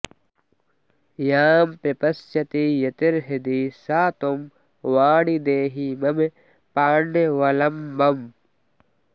यां प्रपश्यति यतिर्हृदि सा त्वं वाणि देहि मम पाण्यवलम्बम्